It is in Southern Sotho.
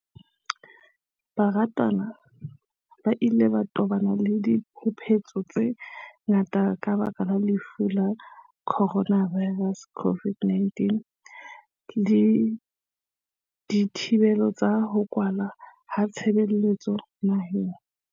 Barutwana ba ile ba tobana le diphephetso tse ngata ka lebaka la Lefu la Coronavi rus, COVID-19, le dithibelo tsa ho kwalwa ha ditshebeletso naheng.